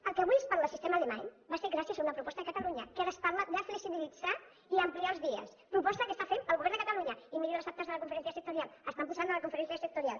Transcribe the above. el que avui es parla de sistema alemany va ser gràcies a una proposta de catalunya que ara es parla de flexibilitzar i ampliar els dies proposta que està fent el govern de catalunya i miri les actes de la conferència sectorial estan posades a la conferència sectorial